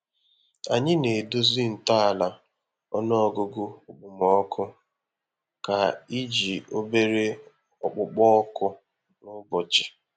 Anyị na-edozi ntọala ọnụọgụgụ okpomọkụ ka iji obere okpukpo oku n'ụbọchị.